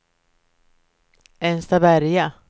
Enstaberga